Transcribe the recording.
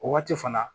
O waati fana